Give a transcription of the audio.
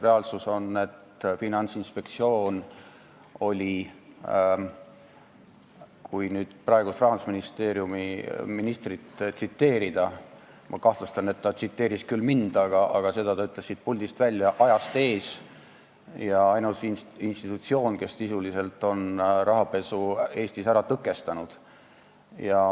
Reaalsus on, et Finantsinspektsioon oli – kui nüüd praegust rahandusministrit tsiteerida, kuigi ma kahtlustan, et tema tsiteeris küll mind, aga seda ta ütles siit puldist – ajast ees ja ainus institutsioon, kes sisuliselt on rahapesu Eestis ära tõkestanud.